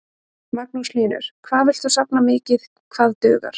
Magnús Hlynur: Hvað villt þú safna mikið, hvað dugar?